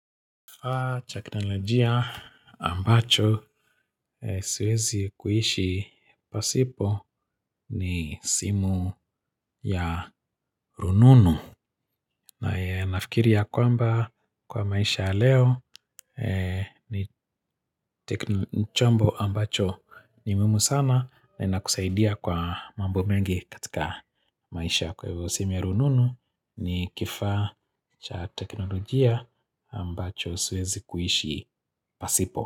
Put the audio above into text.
Kifa cha teknolojia ambacho siwezi kuishi pasipo ni simu ya rununu. Na nafikiri ya kwamba kwa maisha leo ni chombo ambacho ni muhimu sana na inakusaidia kwa mambo mengi katika maisha kwa hivo simu ya rununu ni kifa cha teknolojia ambacho siwezi kuhishi pasipo.